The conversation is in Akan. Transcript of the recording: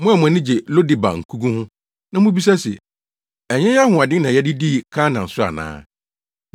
Mo a mo ani gye Lo-debar nkogu ho, na mubisa se, “Ɛnyɛ yɛn ahoɔden na yɛde dii Karnaim so ana?”